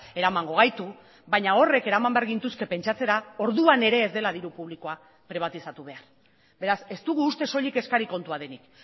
eramango gaitu baina horrek eraman behar gintuzke pentsatzera orduan ere ez dela diru publikoa pribatizatu behar beraz ez dugu uste soilik eskari kontua denik